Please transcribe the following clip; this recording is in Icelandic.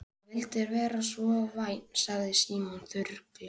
Ef þú vildir vera svo vænn sagði Símon þurrlega.